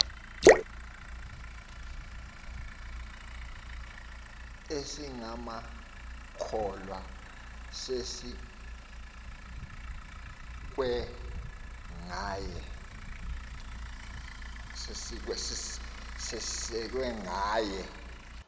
esingamakholwa sisekwe ngaye